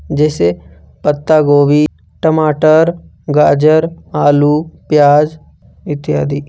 जैसे पत्तागोभी टमाटर गाजर आलू प्याज इत्यादि।